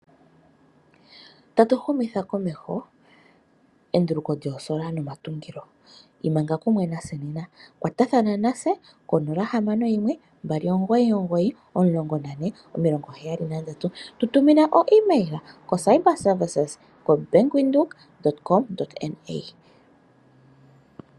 Tatu humitha komeho enduluko lyoosolar nomatungilo. Imanga kumwe natse nena . Kwatathana natse 0612991473. Tutumina ontumwafo ko cibservicedesk@bankwindhoek.com.na